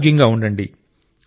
ఆరోగ్యంగా ఉండండి